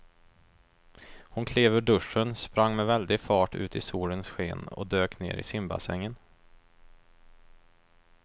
Hon klev ur duschen, sprang med väldig fart ut i solens sken och dök ner i simbassängen.